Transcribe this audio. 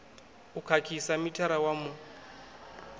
u khakhisa mithara wa mu